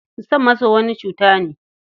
Son maso wani cuta ne.